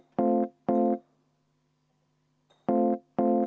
Aitäh!